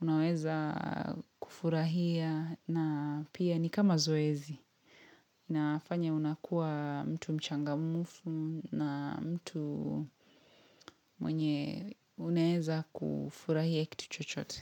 unaweza kufurahia na pia ni kama zoezi. Inafanya unakuwa mtu mchangamfu na mtu mwenye unaweza kufurahia kitu chochote.